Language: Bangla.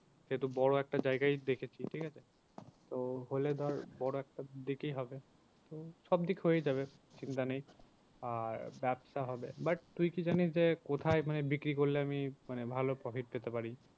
সেহেতু বড়ো একটা জায়গায়ই দেখেছি ঠিক আছে। তো হলে ধর বড়ো একটা দিকে হবে। তো সব দিক হয়েই যাবে চিন্তা নেই। আর ব্যবসা হবে but তুই কি জানিস যে কোথায় মানে বিক্রি করলে আমি মানে ভালো profit পেতে পারি?